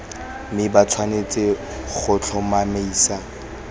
mme ba tshwanetse go tlhomamisa